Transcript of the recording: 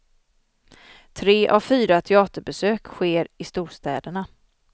Tre av fyra teaterbesök sker i storstäderna.